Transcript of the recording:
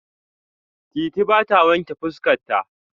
Titi ba ta wanƙe fuska ta.